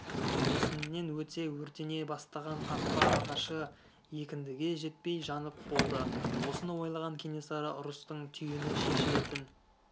бесіннен өте өртене бастаған қақпа ағашы екіндіге жетпей жанып болды осыны ойлаған кенесары ұрыстың түйіні шешілетін